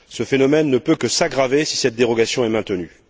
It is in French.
Ce phénomène ne peut que s'aggraver si cette dérogation est maintenue.